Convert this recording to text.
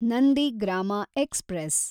Nandigram express